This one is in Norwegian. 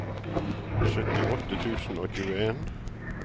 syttiåtte tusen og tjueen